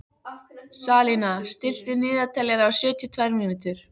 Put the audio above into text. Salína, stilltu niðurteljara á sjötíu og tvær mínútur.